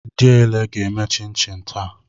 Diele ga-eme chin chin taa.